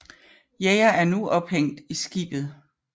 Jæger er nu ophængt i skibet